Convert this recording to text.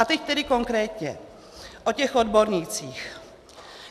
A teď tedy konkrétně o těch odbornících.